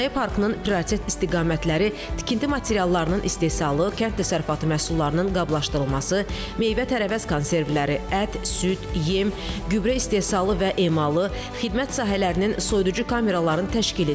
Sənaye parkının prioritet istiqamətləri tikinti materiallarının istehsalı, kənd təsərrüfatı məhsullarının qablaşdırılması, meyvə-tərəvəz konservləri, ət, süd, yem, gübrə istehsalı və emalı, xidmət sahələrinin soyuducu kameraların təşkilidir.